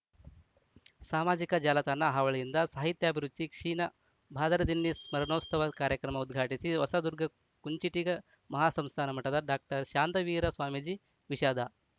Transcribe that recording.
ಸಾಮಾಜಿಕ ಜಾಲತಾಣ ಹಾವಳಿಯಿಂದ ಸಾಹಿತ್ಯಾಭಿರುಚಿ ಕ್ಷೀಣ ಬಾದರದಿನ್ನಿ ಸ್ಮರಣೋತ್ಸವ ಕಾರ್ಯಕ್ರಮ ಉದ್ಘಾಟಿಸಿ ಹೊಸದುರ್ಗ ಕುಂಚಿಟಿಗ ಮಹಾಸಂಸ್ಥಾನ ಮಠದ ಡಾಕ್ಟರ್ ಶಾಂತವೀರ ಸ್ವಾಮೀಜಿ ವಿಷಾದ